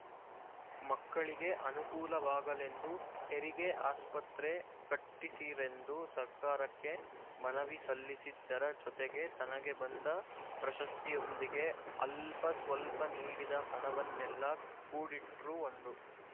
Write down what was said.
ಮಕ್ಕಳಿಗೆ ಅನುಕೂಲವಾಗಲೆಂದು ಹೆರಿಗೆ ಆಸ್ಪತ್ರೆ ಕಟ್ಟಿಸಿರೆಂದು ಸರ್ಕಾರಕ್ಕೆ ಮನವಿ ಸಲ್ಲಿಸಿದ್ದರ ಜೊತೆಗೆ ತನಗೆ ಬಂದ ಪ್ರಶಸ್ತಿಯೊಂದಿಗೆ ಅಲ್ಪಸ್ವಲ್ಪ ನೀಡಿದ ಹಣವನ್ನೆಲ್ಲ ಕೂಡಿಟ್ರು ಒಂದು